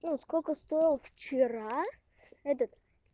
ну сколько стоил вчера этот